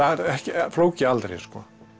flóki aldrei sko